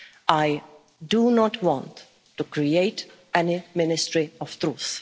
of our policies. I do not want to create any